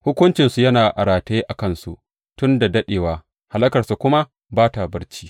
Hukuncinsu yana a rataye a kansu tun da daɗewa, hallakarsu kuma ba ta barci.